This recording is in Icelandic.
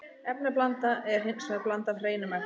Efnablanda er hins vegar blanda af hreinum efnum.